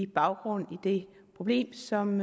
baggrund i det problem som